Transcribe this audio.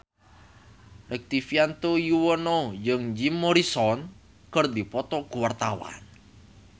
Rektivianto Yoewono jeung Jim Morrison keur dipoto ku wartawan